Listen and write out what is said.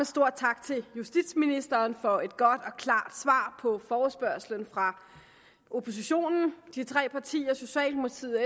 stor tak til justitsministeren for et godt og klart svar på forespørgslen fra oppositionen de tre partier socialdemokratiet